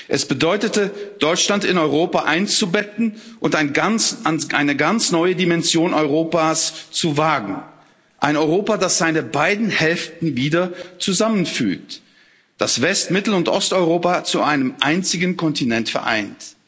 Es bedeutete, Deutschland in Europa einzubetten und eine ganz neue Dimension Europas zu wagen eines Europas, das seine beiden Hälften wieder zusammenfügt, das West Mittel und Osteuropa zu einem einzigen Kontinent vereint.